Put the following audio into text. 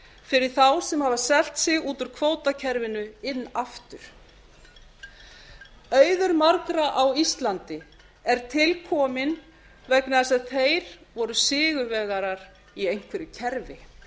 fyrir þá sem afar selt sig út úr kvótakerfinu inn aftur auður margra á íslandi er tilkominn vegna þess að þeir voru sigurvegarar í einhverju kerfi